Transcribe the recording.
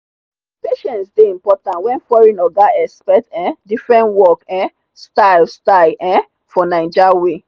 patience dey important when foreign oga expect um different work um style style um from naija way.